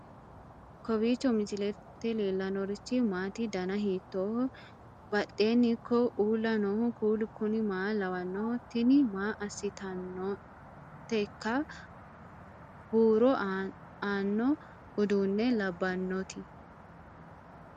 kowiicho misilete leellanorichi maati ? dana hiittooho ?abadhhenni ikko uulla noohu kuulu kuni maa lawannoho? tini maa aassitannoteika huuro aaanno uduunne labbannoti